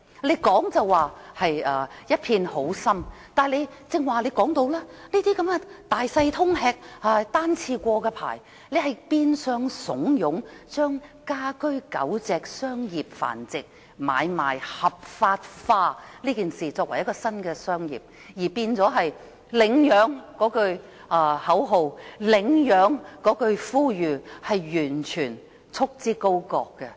局方雖然一片好心，但推行的措施好像是"大小通吃"、單次許可證變相鼓勵住家狗隻商業繁殖買賣合法化，將此舉變為新的行業，以及將呼籲公眾領養狗隻的口號束之高閣。